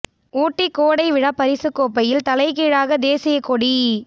ஊட்டி கோடை விழா பரிசுக் கோப்பையில் தலைகீழாக தேசியக் கொடி